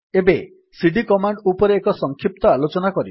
ଏବେ CD command ଉପରେ ଏକ ସଂକ୍ଷିପ୍ତ ଆଲୋଚନା କରିବା